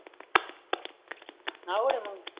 अवडगड आहे मग